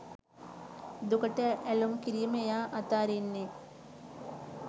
දුකට ඇලූම් කිරීම එයා අතහරින්නේ